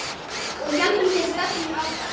Og héldum þeirri stefnu áfram.